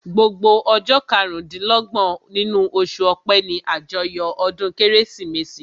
Gbogbo ọjọ́ karùn-dín-lọ́gbọ̀n nínú oṣù ọpẹ́ ní àjọyọ̀ ọdún kérésìmesì